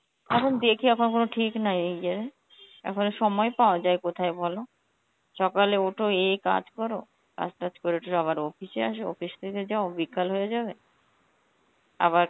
এখন দেখি, এখনো কোনো ঠিক নাই এই যে, এখন ও সময় পাওয়া যায় কোথায় বলো? সকালে ওঠো এ এ কাজ করো, কাজ টাজ করে তরে আবার office এ আসো, office থেকে যাও বিকেল হয়ে যাবে, আবার